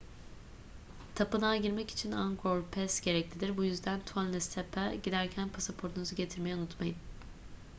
tapınağa girmek için angkor pass gereklidir bu yüzden tonle sap'a giderken pasaportunuzu getirmeyi unutmayın